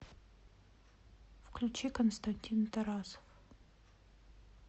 включи константин тарасов